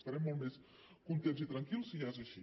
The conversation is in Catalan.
estarem molt més contents i tranquils si és així